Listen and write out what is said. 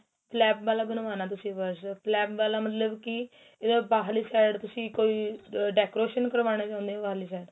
flap ਵਾਲਾ ਬਣਵਾਣਾ ਤੁਸੀਂ purse flap ਵਾਲਾ ਮਤਲਬ ਕੀ ਬਾਹਰਲੀ side ਤੁਸੀਂ ਕੋਈ ਆ decoration ਕਰਵਾਉਣੀ ਨੇ ਉਨੇ ਵਾਰਲਿਸ਼ ਏ